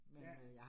Ja